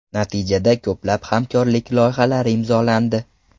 Natijada ko‘plab hamkorlik loyihalari imzolandi.